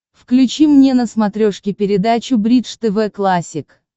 включи мне на смотрешке передачу бридж тв классик